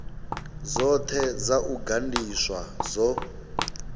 dzothe dza u gandiswa dzo